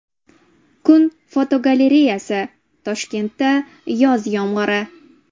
Kun fotogalereyasi: Toshkentda yoz yomg‘iri.